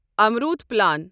Amrut plan